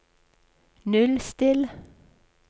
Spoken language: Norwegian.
nullstill